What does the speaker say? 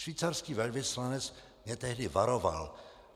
Švýcarský velvyslanec mě tehdy varoval.